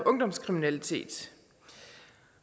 ungdomskriminalitet